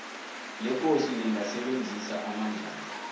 lekosi lingasebenzisa amandlalo